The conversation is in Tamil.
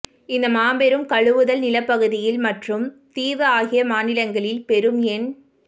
இந்த மாபெரும் கழுவுதல் நிலப்பகுதியில் மற்றும் தீவு ஆகிய மாநிலங்களில் பெரும் எண்